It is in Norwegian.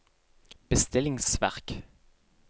bestillingsverk